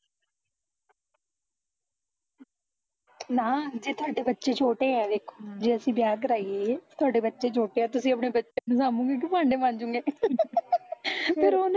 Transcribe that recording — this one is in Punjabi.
ਨਾ ਜੇ ਤੁਹਾਡੇ ਬੱਚੇ ਛੋਟੇ ਐ ਦੇਖੋ, ਜੇ ਅਸੀਂ ਵਿਆਹ ਕਰਾਈਏ, ਤੁਹਾਡੇ ਬੱਚੇ ਛੋਟੇ ਐ, ਤੁਸੀਂ ਅਪਣੇ ਬੱਚਿਆ ਨੂੰ ਸਾਬੂਗੇ ਕਿ ਭਾਂਡੇ ਮਝੂਗੇ ਫਿਰ ਓਹ